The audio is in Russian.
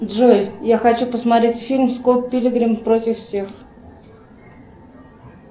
джой я хочу посмотреть фильм скотт пилигрим против всех